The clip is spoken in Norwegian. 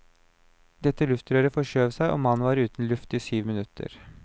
Dette luftrøret forskjøv seg, og mannen var uten luft i syv minutter.